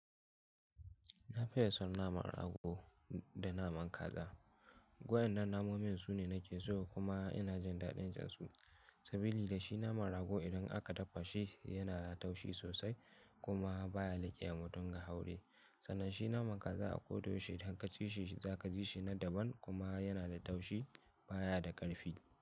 Na fiye son naman rago da naman kaza. Wadannan namomin su ne nake so kuma ina jin daɗin jinsu. Sabili da shi naman rago idan aka dafa shi yana da taushi sosai kuma baya liƙewa mutum a haure. Sanan shi naman kaza a ƙodayaushe idan kaci shi za ka ji shi na daban kuma yana da taushi baya da ƙarfi.